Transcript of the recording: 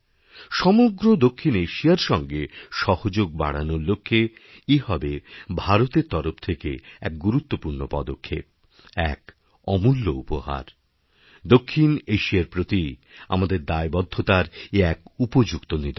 সমগ্র দক্ষিণ এশিয়ার সঙ্গে সহযোগ বাড়ানোর লক্ষ্যে এহবে ভারতের তরফ থেকে এক গুরুত্বপূর্ণ পদক্ষেপ এক অমূল্য উপহার দক্ষিণ এশিয়ারপ্রতি আমাদের দায়বদ্ধতার এ এক উপযুক্ত নিদর্শন